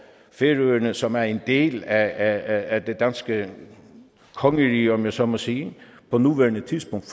færøerne som er en del af det danske kongerige om jeg så må sige på nuværende tidspunkt